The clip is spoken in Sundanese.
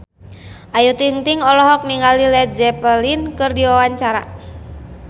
Ayu Ting-ting olohok ningali Led Zeppelin keur diwawancara